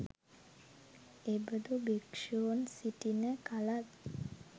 එබඳු භික්‍ෂූන් සිටින කලත්